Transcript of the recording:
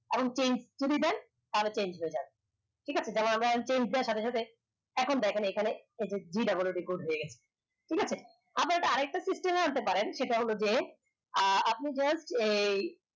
এবং change যদি দেন তা হলে change হয়ে যাবে ঠিক আছে যেমন আমরা সাথে সাথে এখন দেখেন এখানে এই যে G O O D হয়ে গেছে ঠিক আছে আবার আরেক টা system এ আনতে পারেন সেটা হল যে আহ আপনাদের এর